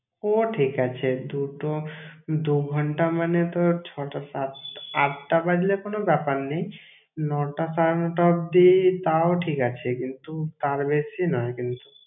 ও ঠিক আছে দুটো, দু ঘণ্টা মানে তো ছ'টা, সাত~, আটটা বাজলে কোনো ব্যাপার নেই। ন'টা সাড়ে ন'টা অবদি তাও ঠিক আছে কিন্তু, তার বেশি নয় কিন্তু।